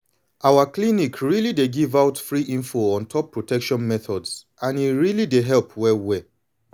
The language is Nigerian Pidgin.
our clinic really dey give out free info on top protection methods and e really dey help well well.